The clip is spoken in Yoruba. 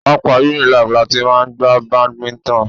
Pápá Unilag láti máa gbá badminton.